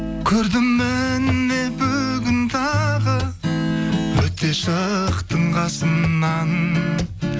көрдім міне бүгін тағы өте шықтың қасымнан